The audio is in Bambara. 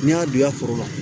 N'i y'a don i ka foro la